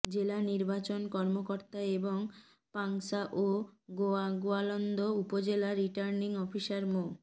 জেলা নির্বাচন কর্মকর্তা এবং পাংশা ও গোয়ালন্দ উপজেলা রিটার্নিং অফিসার মো